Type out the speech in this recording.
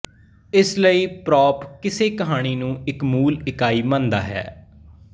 ਇਸ ਲਈ ਪਰੌਪ ਕਿਸੇ ਕਹਾਣੀ ਨੂੰ ਇੱਕ ਮੂਲ ਇਕਾਈ ਮੰਨਦਾ ਹੈ